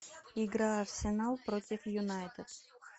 игра арсенал против юнайтед